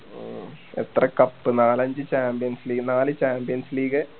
എത്ര cup നാലഞ്ച് champions league നാല് champions league